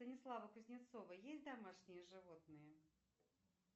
у станислава кузнецова есть домашние животные